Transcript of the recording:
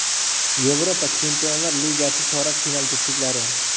Yevropa Chempionlar Ligasi chorak final juftliklari.